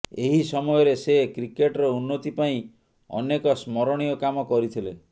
ଏହି ସମୟରେ ସେ କ୍ରିକେଟର ଉନ୍ନତି ପାଇଁ ଅନେକ ସ୍ମରଣୀୟ କାମ କରିଥିଲେ